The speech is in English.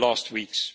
weeks.